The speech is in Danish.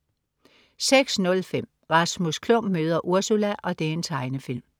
06.05 Rasmus Klump møder Ursula. Tegnefilm